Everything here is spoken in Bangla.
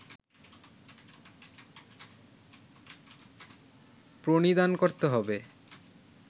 প্রণিধান করতে হবে